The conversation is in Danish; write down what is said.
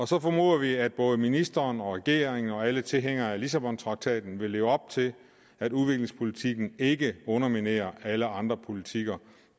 så formoder vi at både ministeren og regeringen og alle tilhængere af lissabontraktaten vil leve op til at udviklingspolitikken ikke underminerer alle andre politikker